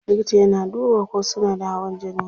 Likita yana duba ko suna da hawan jini.